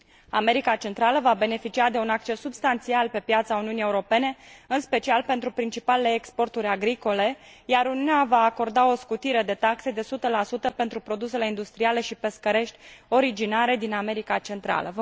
America Centrală va beneficia de un acces substanțial pe piața Uniunii Europene, în special pentru principalele exporturi agricole, iar Uniunea va acorda o scutire de taxe de 100 pentru produsele industriale și pescărești originare din America Centrală.